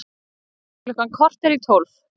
Klukkan korter í tólf